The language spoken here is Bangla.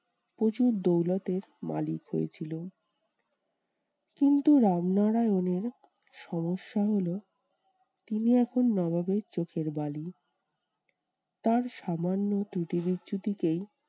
প্রচুর দৌলতের মালিক হয়েছিল। কিন্তু রামনারায়ণের সমস্যা হলো, তিনি এখন নবাবের চোখের বালি। তার সামান্য ত্রুটি বিচ্ছুটিকেই